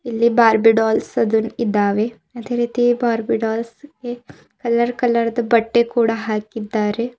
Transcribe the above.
ಇಲ್ಲಿ Barbie dolls ಅದುನ್ ಇದಾವೆ ಅದೇ ರೀತಿ ಬಾರ್ಬಿ ಡಾಲ್ಸ್ ಗೆ ಕಲರ್ ಕಲರ್ ಬಟ್ಟೆ ಹಾಕಿದ್ದಾರೆ.